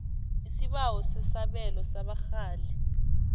isibawo sesabelo sabarhali